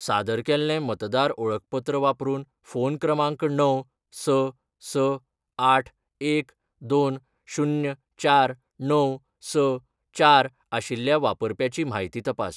सादर केल्लें मतदार ओळखपत्र वापरून फोन क्रमांक णव, स, स, आठ, एक, दोन, शुन्य, चार, णव, स, चार आशिल्ल्या वापरप्याची म्हायती तपास.